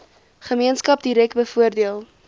gemeenskap direk bevoordeel